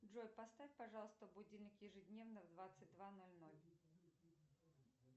джой поставь пожалуйста будильник ежедневно в двадцать два ноль ноль